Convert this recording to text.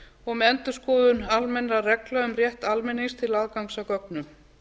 og með endurskoðun almennra reglna um rétt almennings til aðgangs að gögnum